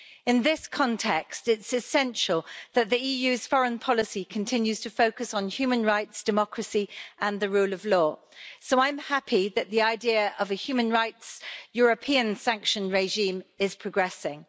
In this context, it's essential that the EU's foreign policy continues to focus on human rights, democracy and the rule of law, so I'm happy that the idea of a European human rights sanction regime is progressing.